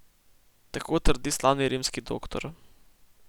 Tako trdi slavni rimski Doktor.